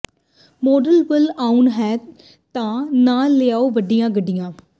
ਸੋਢਲ ਵੱਲ ਆਉਣਾ ਹੈ ਤਾਂ ਨਾ ਲਿਆਓ ਵੱਡੀਆਂ ਗੱਡੀਆਂ